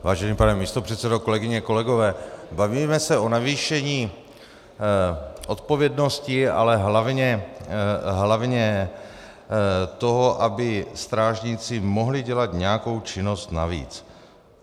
Vážený pane místopředsedo, kolegyně, kolegové, bavíme se o navýšení odpovědnosti, ale hlavně toho, aby strážníci mohli dělat nějakou činnost navíc.